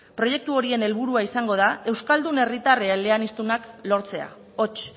proiektu horien helburua izango da euskaldun herritar eleaniztunak lortzea hots